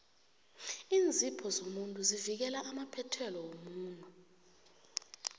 iinzipho zomuntu zivikela amaphethelo womuno